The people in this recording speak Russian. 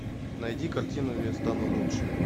найди картину я стану лучше